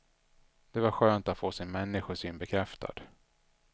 Det var skönt att få sin människosyn bekräftad.